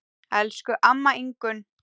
Elsku amma Ingunn.